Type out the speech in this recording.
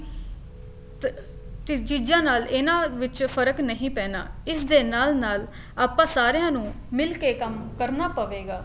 ਤਾਂ ਤੇ ਚੀਜ਼ਾਂ ਨਾਲ ਇਹਨਾ ਵਿੱਚ ਫ਼ਰਕ ਨਹੀਂ ਪੈਣਾ ਇਸ ਦੇ ਨਾਲ ਨਾਲ ਆਪਾਂ ਸਾਰਿਆ ਨੂੰ ਮਿਲ ਕੇ ਕੰਮ ਕਰਨਾ ਪਵੇਗਾ